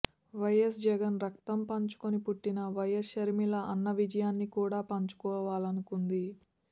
YS Jagan రక్తం పంచుకుని పుట్టిన వైయస్ షర్మిల అన్న విజయాన్ని కూడా పంచుకోవాలనుకుంది